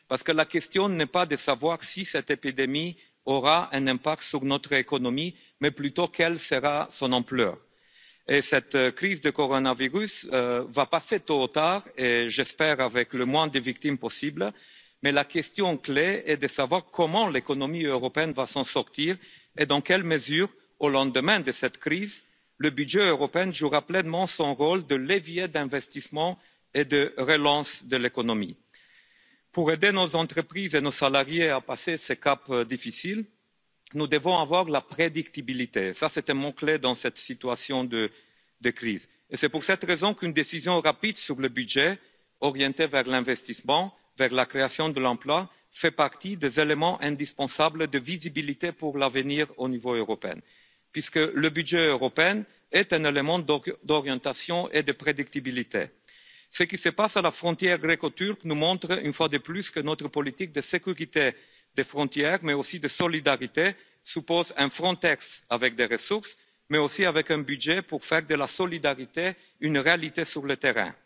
Parce que la question n'est pas de savoir si cette épidémie aura un impact sur notre économie, mais plutôt quelle sera son ampleur. Cette crise du coronavirus va passer tôt ou tard et j'espère avec le moins de victimes possibles. Mais la question clé est de savoir comment l'économie européenne va s'en sortir et dans quelle mesure, au lendemain de cette crise, le budget européen jouera pleinement son rôle de levier d'investissement et de relance de l'économie. Pour aider nos entreprises et nos salariés à passer ce cap difficile, nous devons avoir la prédictibilité, c'est un mot clé dans cette situation de crise. C'est pour cette raison qu'une décision rapide sur le budget, orientée vers l'investissement, vers la création d'emplois, fait partie des éléments indispensables de visibilité pour l'avenir au niveau européen, puisque le budget européen est un élément d'orientation et de prédictibilité. Ce qui se passe à la frontière gréco turque nous montre une fois de plus que notre politique de sécurité des frontières, mais aussi de solidarité, suppose un Frontex avec des ressources, mais aussi avec un budget pour faire de la solidarité une réalité sur le